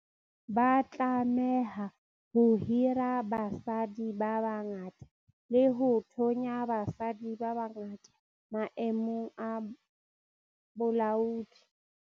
Ba tlameha ho hira basadi ba bangata le ho thonya basadi ba bangata maemong a bolaodi.